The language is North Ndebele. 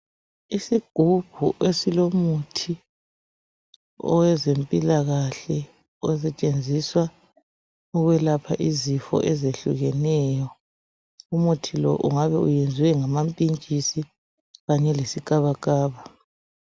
Isigubhu esilomuthi, owezempilakahle. Osetshenziswa ukwelapha izifo ezehlukeneyo. Umuthi lo, ungabe uyenziwe ngamapintshisi kanye lesikabakaba.